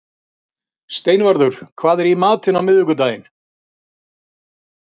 Steinvarður, hvað er í matinn á miðvikudaginn?